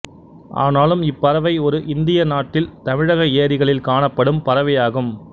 ஆனாலும் இப்பறவை ஒரு இந்திய நாட்டில் தமிழக ஏரிகளில் காணப்படும் பறவையாகும்